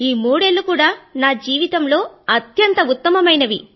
ఈ మూడేళ్ళూ కూడా నా జీవితంలో అత్యంత ఉత్తమమైనవి